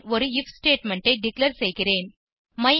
பின் ஒரு if statement ஐ declare செய்கிறேன்